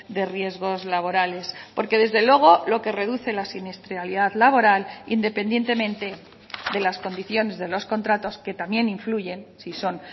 de riesgos laborales porque desde luego lo que reduce la siniestralidad laboral independientemente de las condiciones de los contratos que también influyen si son